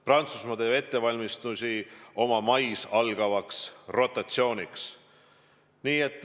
Prantsusmaa teeb ettevalmistusi mais algavaks rotatsiooniks.